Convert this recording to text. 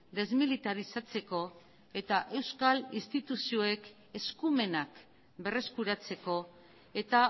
desmilitarizatzeko eta euskal instituzioek eskumenak berreskuratzeko eta